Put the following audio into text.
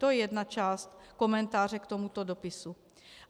To je jedna část komentáře k tomuto dopisu.